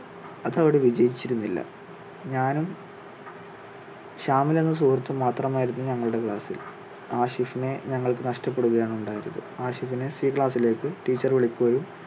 അത് അവിടെ വിജയിച്ചിരുന്നില്ല. ഞാനും ഷാമിൽ എന്ന സുഹൃത്തും മാത്രം ആയിരുന്നു ഞങ്ങളുടെ class ിൽ ആഷിഫിനെ ഞങ്ങൾക്ക് നഷ്ട്ടപ്പെടുകയാണ് ഉണ്ടായത് ആഷിഫിനെ സി class ിലേക്ക് teacher വിളിക്കുകയും